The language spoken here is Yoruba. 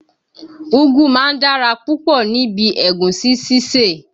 Úgú máa ń dára púpọ̀ ní bi Ẹ̀gúsí sísè